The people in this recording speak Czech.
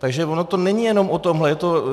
Takže ono to není jenom o tomhle.